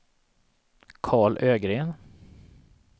Karl Ögren